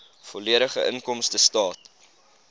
volledige inkomstestaat